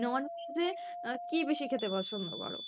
non-veg এ আহ কী বেশি খেতে পছন্দ করো?